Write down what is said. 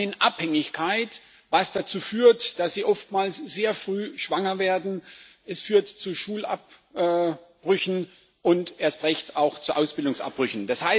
Sie landen in Abhängigkeit, was dazu führt, dass sie oftmals sehr früh schwanger werden, dies führt zu Schulabbrüchen und erst recht auch zu Ausbildungsabbrüchen.